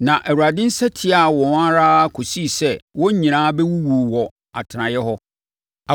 Na Awurade nsa tiaa wɔn ara kɔsi sɛ wɔn nyinaa bɛwuwuu wɔ wɔn atenaeɛ hɔ.